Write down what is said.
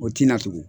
O tina tugun